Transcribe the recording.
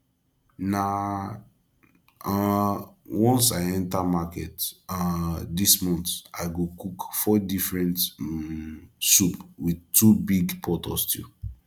na um once i go enter market um dis month i go cook four different um soup with two big pot of stew